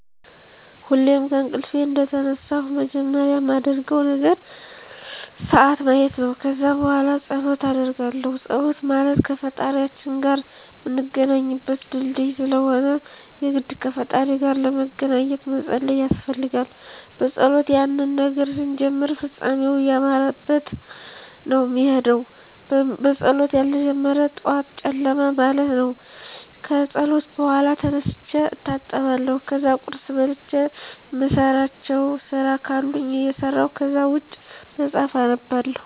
ሁሌም ከእንቅልፌ እንደተነሳሁ መጀመሪያ ማደርገው ነገር ስዓት ማየት ነው። ከዛ በኋላ ፀሎት አደርጋለሁ ፀሎት ማለት ከፈጣሪያችን ጋር ምንገናኝበት ድልድይ ስለሆነ የግድ ከፈጣሪ ጋር ለመገናኜት መፀለይ ያስፈልጋል። በፀሎት የሆነን ነገር ስንጀምር ፍፃሜው እያማረበት ነው ሚሄደው በፀሎት ያልተጀመረ ጠዋት ጨለማ ማለት ነው። ከፀሎት በኋላ ተነስቼ እታጠባለሁ ከዛ ቁርስ በልቼ እምሰራቸው ስራ ካሉኝ እሰራለሁ ከዛ ውጭ መፅሐፍ አነባለሁ።